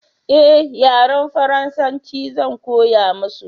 eh yaren faransanci Zan koya musu